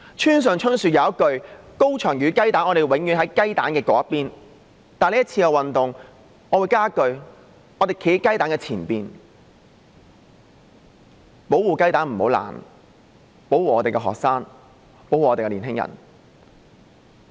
村上春樹有一句說話是這樣的："高牆與雞蛋，我們永遠站在雞蛋那邊"；但對於這次的運動，我會多加一句：我們站在雞蛋前邊，保護雞蛋不要破，保護我們的學生，保護我們的年青人。